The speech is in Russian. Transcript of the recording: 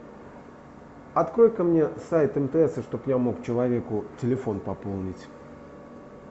открой ка мне сайт мтс чтоб я мог человеку телефон пополнить